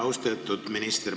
Austatud minister!